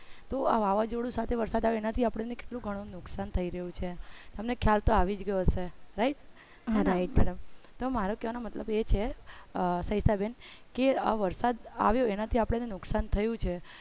તો આ વાવાજોડું સાથે વરસાદ આવે તો એનાથી કેટલું ગણું નુકસાન થઇ રહ્યું છે તમને ખ્યાલ તો આવી જ ગયો હશે right હા right તો મારો કેવાનો મતલબ એ છે સવિતા બેન કે આ વરસાદ આવ્યો એનાથી અપને નુકસાન થયું છે.